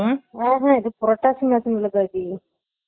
உம் ஹம் இல்ல பவி